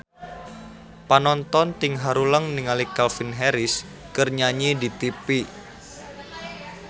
Panonton ting haruleng ningali Calvin Harris keur nyanyi di tipi